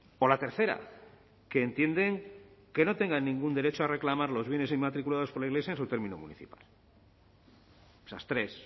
o la tercera que entienden que no tengan ningún derecho a reclamar los bienes inmatriculados por la iglesia en su término municipal esas tres